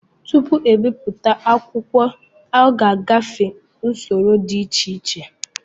Tupu ebipụta akwụkwọ ọ ga-agafe usoro dị iche iche